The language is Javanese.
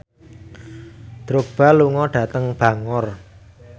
Drogba lunga dhateng Bangor